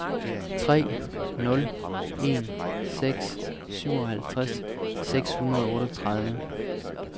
tre nul en seks syvoghalvtreds seks hundrede og otteogtredive